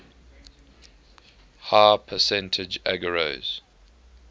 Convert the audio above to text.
high percentage agarose